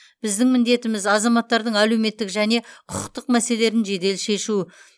біздің міндетіміз азаматтардың әлеуметтік және құқықтық мәселелерін жедел шешу